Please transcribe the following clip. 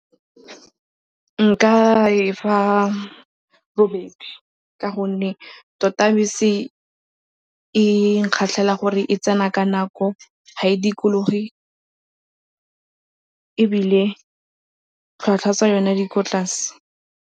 Nka e fa robedi ka gonne tota bese e nkgatlhela gore e tsena ka nako, ga e dikologe ebile tlhwatlhwa tsa yone di ko tlase.